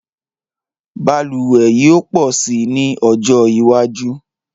Balùwẹ̀ yóò pọ̀ si ní ọjọ́ iwájú